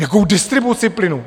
Jakou distribuci plynu?